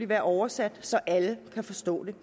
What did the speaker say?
være oversat så alle kan forstå det